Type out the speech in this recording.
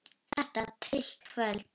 Þetta var tryllt kvöld.